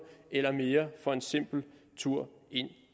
eller mere for en simpel tur ind